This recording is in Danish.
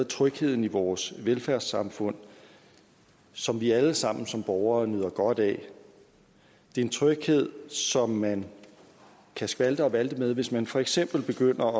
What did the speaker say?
trygheden i vores velfærdssamfund som vi alle sammen som borgere nyder godt af det er en tryghed som man kan skalte og valte med hvis man for eksempel begynder